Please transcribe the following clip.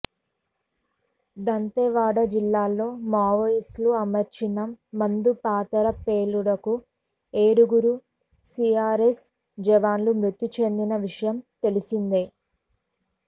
దంతేవాడ జిల్లాలో మావోయిస్టులు అమర్చిన మందు పాతర పేలుడుకు ఏడుగురు సిఆర్పిఎఫ్ జవాన్లు మృతి చెందిన విషయం తెలిసిందే